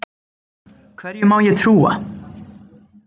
Hverju má ég trúa?